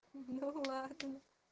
ну ладно